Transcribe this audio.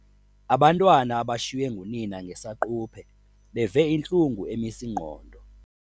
Abantwana abashiywe ngunina ngesaquphe beve intlungu emis' ingqondo.